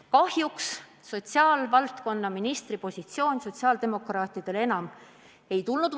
Kahjuks pole hiljem sotsiaalvaldkonna ministri positsiooni sotsiaaldemokraatidele enam antud.